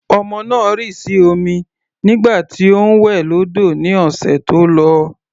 Ọmọ náà rì sí omi nígbà tí ó ń wẹ̀ lọ́dọ̀ ní ọ̀sẹ̀ tó lọ.